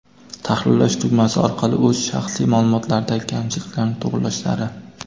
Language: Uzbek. tahrirlash tugmasi orqali o‘z shaxsiy ma’lumotlaridagi kamchiliklarni to‘g‘irlashlari;.